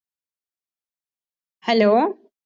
hello